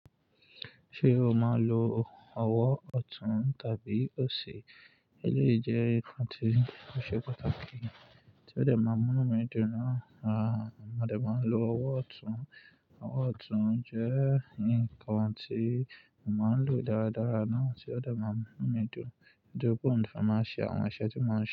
Ṣé o máa ń lo ọwọ́ ọ̀tún tàbí òsì? Elèyii jẹ́ nǹkan tí ó ṣe pàtàkì. Ti odẹ̀ máa mú inu mi dùn náà, à, a dẹ̀ máa ń lo ọwọ́ ọ̀tún. Ọwọ́ ọ̀tún jẹ́ nǹkan tí mo máa ń lò dáradára náà tí ó dẹ̀ máa ń mú inú mi dùn. Torípé òun ni mo fi máa n ṣe àwọn iṣẹ́ tí mo ń ṣe.